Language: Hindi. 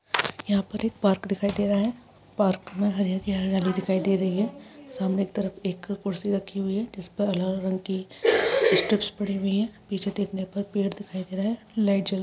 यहां पर एक पार्क दिखाई दे रहा है। पार्क में हरी-हरी हरियाली दिखाई दे रही है। सामने एक तरफ एक कुर्सी रखी हुई है जिस पर अलग-अलग रंग की पड़ी हुई है। पीछे देखने पर पेड़ दिखाई दे रहा है। लाइट जल रही है।